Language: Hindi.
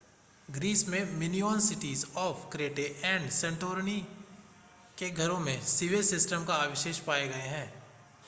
ग्रीस में Minoan cities of Crete and Santorini के घरों में सिवेज सिस्टम्स के अवशेष पाए गए हैं